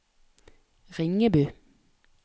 Ringebu